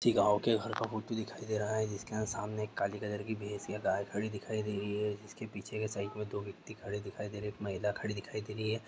यह गांव का मूर्ति दिखाई दे रहा है जिसके सामने एक काली कलर की भैंस या गाय खड़ी दिखाई दे रही है इसके पीछे के साईड में दो व्यक्ति खड़े दिखाई दे रहे है महिला खड़ी दिखाई दे रही है।